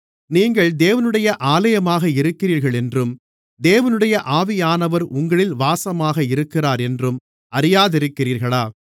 நீங்கள் தேவனுடைய ஆலயமாக இருக்கிறீர்களென்றும் தேவனுடைய ஆவியானவர் உங்களில் வாசமாக இருக்கிறாரென்றும் அறியாதிருக்கிறீர்களா